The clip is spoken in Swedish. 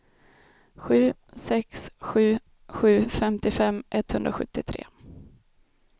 sju sex sju sju femtiofem etthundrasjuttiotre